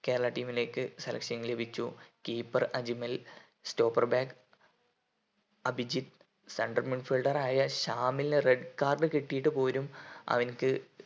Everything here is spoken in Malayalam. കേരള team ലേക്ക് selection ലഭിച്ചു keeper Ajmal stopper back Abhijith central midfielder ആയ ശ്യാമിലിന് red card കിട്ടീട്ട് പോലും അവൻക്ക് കേരള team ലേക്ക് selection ലഭിച്ചു